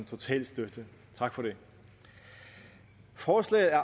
total støtte tak for det forslaget er